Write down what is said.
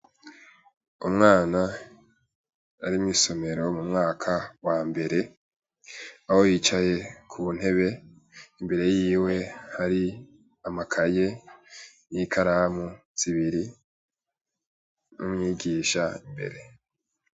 Umwana ari mw'isomero mu mwaka wa mbere. Aho yicaye ku ntebe imbere yiwe hari amakaye n'ikaramu zibiri n'umwigisha imbere.